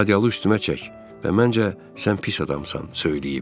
Adyalı üstümə çək və məncə sən pis adamsan söyləyib.